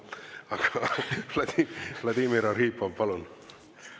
Aga Vladimir Arhipov, palun!